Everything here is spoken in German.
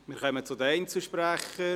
Wir kommen zu den Einzelsprechern: